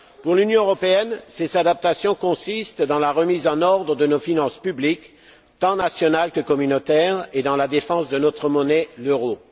Pour l'Union européenne, ces adaptations consistent dans la remise en ordre de nos finances publiques, tant nationales que communautaires, et dans la défense de notre monnaie, l'euro.